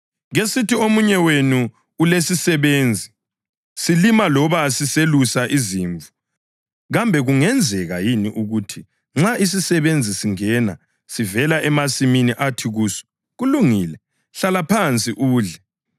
Kesithi omunye wenu ulesisebenzi, silima loba siselusa izimvu. Kambe kungenzeka yini ukuthi nxa isisebenzi singena sivela emasimini athi kuso, ‘Kulungile, hlala phansi udle’?